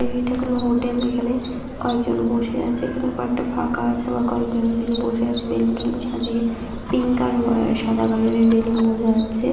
এটা কোনো হোটেল এখানে কয়েকজন বসে আছে এখানে কয়েকটা ফাঁকা আছে আবার কয়েকজন ওদিকে বসে আছে বেলুন গুলোকে সাজিয়ে পিঙ্ক আর সাদা কালারের বেলুন বোঝা যাচ্ছে।